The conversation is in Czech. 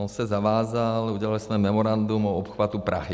On se zavázal, udělali jsme memorandum o obchvatu Prahy.